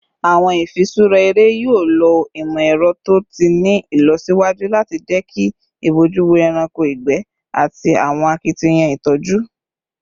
Awọn ifiṣura ere yoo lo imọ-ẹrọ to ti ni ilọsiwaju lati jẹki ibojuwo ẹranko igbẹ ati awọn akitiyan itoju